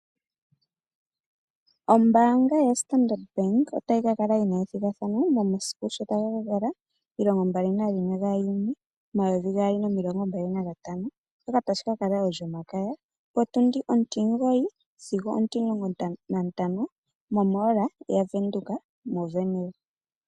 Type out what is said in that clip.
Ombaanga lyoStandard bank otayi kakala yina ethigathano momasiku sho taga ka kala 21 June 2025 olyomakaya otundi 09- o15 momall yaVenduka moWernil.